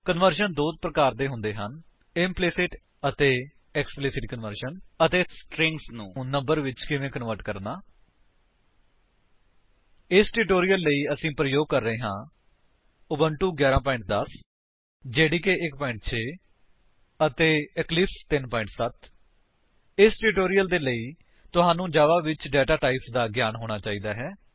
conversion ਦੇ ਦੋ ਪ੍ਰਕਾਰ ਹੁੰਦੇ ਹਨ ਇੰਪਲੀਸਿਟ ਅਤੇ ਐਕਸਪਲਿਸਿਟ ਕੰਵਰਜਨ ਅਤੇ ਸਟਰਿੰਗਸ ਨੂੰ ਨੰਬਰਸ ਵਿੱਚ ਕਿਵੇਂ ਕਨਵਰਟ ਕਰਨਾ ਇਸ ਟਿਊਟੋਰਿਅਲ ਵਿੱਚ ਅਸੀ ਪ੍ਰਯੋਗ ਕਰਾਂਗੇ ਉਬੁੰਟੂ 11 10 ਜੇਡੀਕੇ 1 6 ਅਤੇ ਇਕਲਿਪਸ 3 7 ਇਸ ਟਿਊਟੋਰਿਅਲ ਦੇ ਲਈ ਤੁਹਾਨੂੰ ਜਾਵਾ ਵਿੱਚ ਡੇਟਾ ਟਾਇਪਸ ਦਾ ਗਿਆਨ ਹੋਣਾ ਚਾਹੀਦਾ ਹੈ